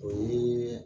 O ye